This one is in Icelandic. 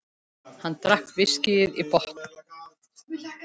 Hann drakk viskíið í botn.